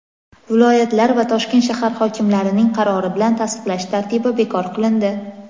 viloyatlar va Toshkent shahar hokimlarining qarori bilan tasdiqlash tartibi bekor qilindi.